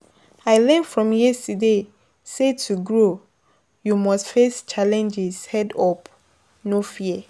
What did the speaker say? I learn from yesterday say to grow, you must face challenges head-on, no fear.